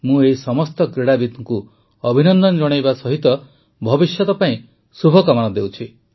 ମୁଁ ଏହି ସମସ୍ତ କ୍ରୀଡ଼ବିତଙ୍କୁ ଅଭିନନ୍ଦନ ଜଣାଇବା ସହ ଭବିଷ୍ୟତ ପାଇଁ ଶୁଭକାମନା ଦେଉଛି